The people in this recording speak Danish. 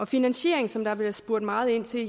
finansieringen som der bliver spurgt meget ind til